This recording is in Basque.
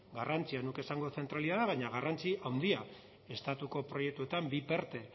garrantzia ez nuke esango zentralitatea baina garrantzi handia estatuko proiektuetan bi perte